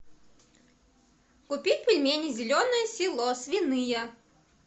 купить пельмени зеленое село свиные